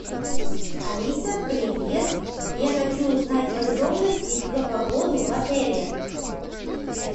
алиса привет я хочу узнать подробности про погоду в отеле